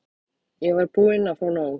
Ég var búin að fá nóg.